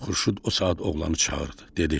Xurşud o saat oğlanı çağırdı, dedi: